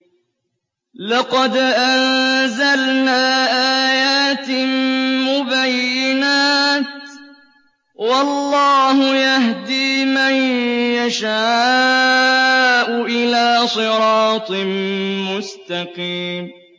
لَّقَدْ أَنزَلْنَا آيَاتٍ مُّبَيِّنَاتٍ ۚ وَاللَّهُ يَهْدِي مَن يَشَاءُ إِلَىٰ صِرَاطٍ مُّسْتَقِيمٍ